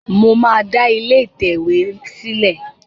Mo máa da ilé ìtẹ̀wé sìlé